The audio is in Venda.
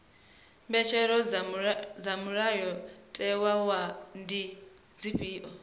mbetshelo dza mulayotewa ndi dzifhio